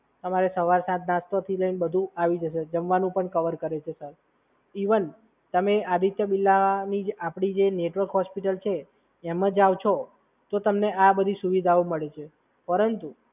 અને સવાર સાંજ નાસ્તાથી લઈને બધુ આવી જશે, જમવાનું પણ કવર કરે છે, સાહેબ. ઇવન, તમે આદિત્ય બિરલાની આપણી જે નેટવર્ક હોસ્પિટલ છે એમાં જાવ છો, તો તમને આ બધી સુવિધાઓ મળે છે. પરંતુ,